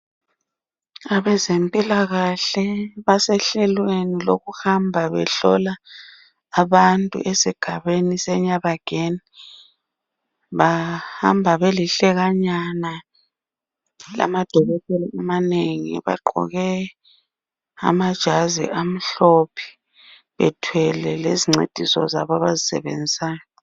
Abezempilakahle basehlelweni lokuhamba behlola abantu esigabeni seNyabageni bahamba belihlekanyana lamadokotela amanengi bagqoke amajazi amhlophe bethwele lezi ncwadi zabo abazisebenzisayo